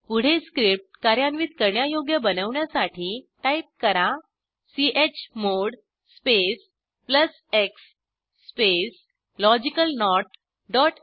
पुढे स्क्रिप्ट कार्यान्वित करण्यायोग्य बनवण्यासाठी टाईप करा chmod space plus x space logical not dot श